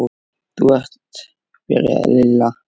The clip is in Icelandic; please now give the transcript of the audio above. Þú ert. byrjaði Lilla.